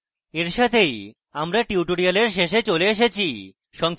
এই সাথেই আমরা tutorial শেষে চলে এসেছি